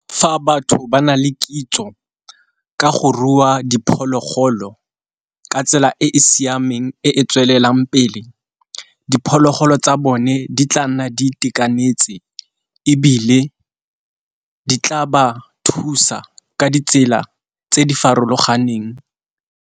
Fa batho ba na le kitso ka go rua diphologolo ka tsela e e siameng e e tswelelang pele, diphologolo tsa bone di tla nna di itekanetse, ebile di tla ba thusa ka ditsela tse di farologaneng.